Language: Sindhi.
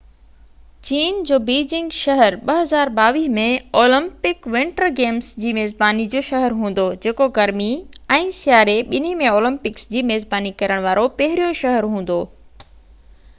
چين جو بيجنگ شهر 2022 ۾ اولمپڪ ونٽر گيمس جي ميزباني جو شهر هوندو جيڪو گرمي ۽ سياري ٻنهي ۾ اولمپڪس جي ميزباني ڪرڻ وارو پهريون شهر هوندو